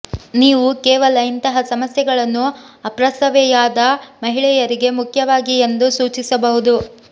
ನೀವು ಕೇವಲ ಇಂತಹ ಸಮಸ್ಯೆಗಳನ್ನು ಅಪ್ರಸವೆಯಾದ ಮಹಿಳೆಯರಿಗೆ ಮುಖ್ಯವಾಗಿ ಎಂದು ಸೂಚಿಸಬಹುದು